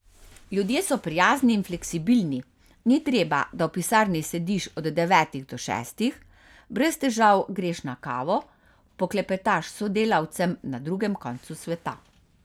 Ljudje so prijazni in fleksibilni, ni treba, da v pisarni sediš od devetih do šestih, brez težav greš na kavo, poklepetaš s sodelavcem na drugem koncu sveta.